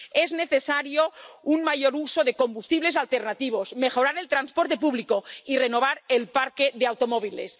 Es necesario un mayor uso de combustibles alternativos, mejorar el transporte público y renovar el parque de automóviles.